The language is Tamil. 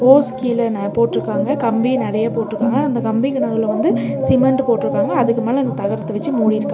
ஹோஸ் கீழ ந போட்ருக்காங்க. கம்பி நெறைய போட்ருக்காங்க. அந்த கம்பிக்கு நடுவுல வந்து சிமெண்ட்டு போட்ருக்காங்க. அதுக்கு மேல இந்த தகரத்த வெச்சு மூடிருக்காங்க.